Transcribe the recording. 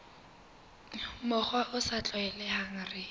mokgwa o sa tlwaelehang re